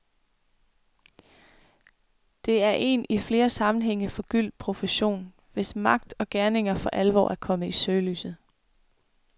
Det er en i flere sammenhænge forgyldt profession, hvis magt og gerninger for alvor er kommet i søgelyset.